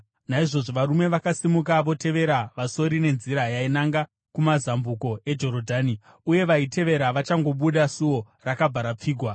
Naizvozvo varume vakasimuka votevera vasori nenzira yainanga kumazambuko eJorodhani, uye vaitevera vachangobuda, suo rakabva rapfigwa.